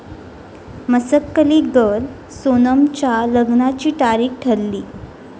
Masakali girl' सोनमच्या लग्नाची तारीख ठरली